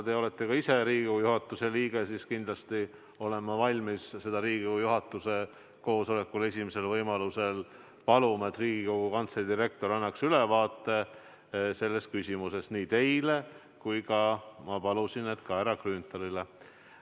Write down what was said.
Te olete ka ise Riigikogu juhatuse liige ja kindlasti olen ma valmis seda Riigikogu juhatuse koosolekul esimesel võimalusel paluma, et Riigikogu Kantselei direktor annaks ülevaate selles küsimuses nii teile kui ka härra Grünthalile.